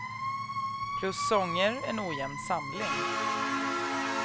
Plus sånger, en ojämn samling.